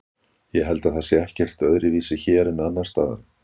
Ég held að það sé ekkert öðruvísi hér en annars staðar.